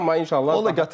Amma inşallah.